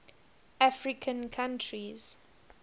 african countries